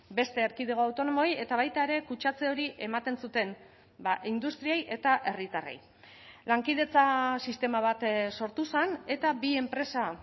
beste erkidego autonomoei eta baita ere kutsatze hori ematen zuten industriei eta herritarrei lankidetza sistema bat sortu zen eta bi enpresa